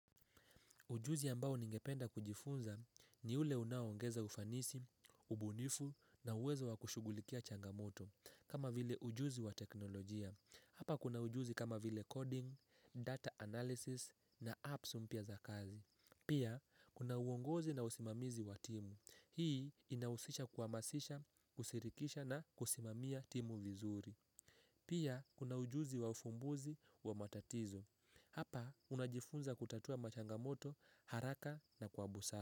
Ujuzi ambao ningependa kujifunza ni ule unaongeza ufanisi, ubunifu na uwezo wa kushughulikia changamoto kama vile ujuzi wa teknolojia. Hapa kuna ujuzi kama vile coding, data analysis na apps mpya za kazi. Pia kuna uongozi na usimamizi wa timu. Hii inahusisha kuhamasisha, kushirikisha na kusimamia timu vizuri. Pia kuna ujuzi wa ufumbuzi wa matatizo. Hapa unajifunza kutatua machangamoto haraka na kwa busara.